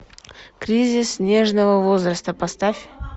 кризис нежного возраста поставь